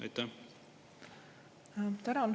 Tänan!